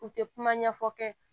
U tɛ kuma ɲɛfɔ kɛ